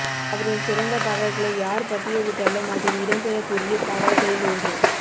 அவரின் சிறந்த பாடல்களை யார் பட்டியலிட்டாலும் அதில் இடம் பெறக்கூடிய பாடல்களில் ஒன்று